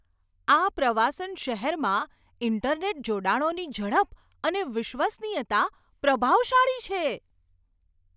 આ પ્રવાસન શહેરમાં ઈન્ટરનેટ જોડાણોની ઝડપ અને વિશ્વસનીયતા પ્રભાવશાળી છે.